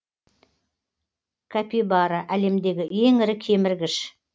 капибара әлемдегі ең ірі кеміргіш